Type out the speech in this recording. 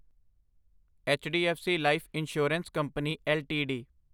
HDFC life insurance company LTD